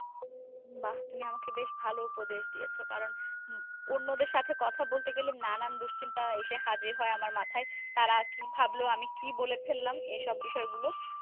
বা তুমি আমাকে বেশ ভালো উপদেশ দিয়েছ, কারণ অন্যদের সাথে কথা বলতে গেলে নানান দুশ্চিন্তা এসে হাজির হয় আমার মাথায়, তারা কি ভাবল আমি কি বলে ফেললাম। এসব বিষয় গুলো।